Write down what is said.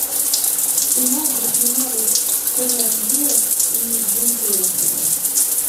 кино где снимались кэмерон диаз и джим керри